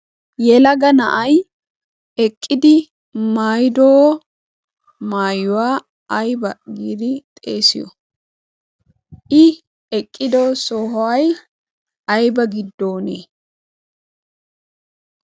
yelaga na'ay eqqidi maayido maayuwaa ayba giidi xeesiyo i eqqido sohuwa ayba giddone?